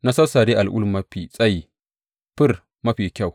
Na sassare al’ul mafi tsayi fir mafi kyau.